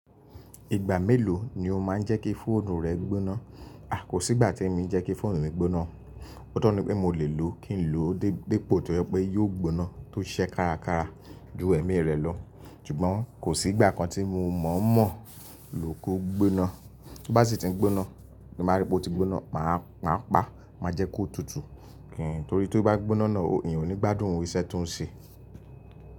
Ìgbà mélòó ni o máa ń jẹ́ kí fóònù rẹ gbóná? A, kò sí ìgbà tí èmi jẹ́ kí fóònù mi gbóná. Ó tó ni pé mo lè lò ó kí n lò ó dé dépo tó yẹ pé yóò gbóná tó ṣẹ́ kárakára ju ẹ̀mí rẹ̀ lọ. Ṣùgbọ́n kò sí ìgbà kan tí mo mọ̀ mọ̀ lóko gbóná. Bí bá sì ti ń gbóná, bí mo bá rí pé ó ti gbóná, màá pa á, má jẹ́ kó tutù. Kí n torí tó bá gbóná náà, ìyẹn ò ní gbádùn irú iṣẹ́ tó ń ṣe.